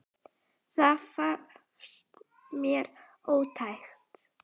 Það fannst mér ótækt.